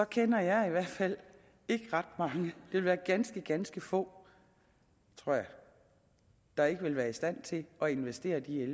kender jeg i hvert fald ikke ret mange det vil være ganske ganske få tror jeg der ikke vil være i stand til at investere de en